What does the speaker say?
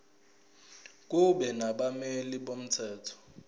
kube nabameli bomthetho